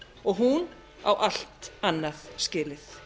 og hún á allt annað skilið